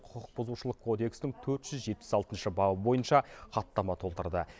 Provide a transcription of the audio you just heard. құқық бұзушылық кодексінің төрт жүз жетпіс алтыншы бабы бойынша хаттама толтырды